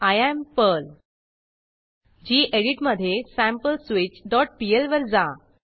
I am Perl gedit मधे sampleswitchपीएल वर जा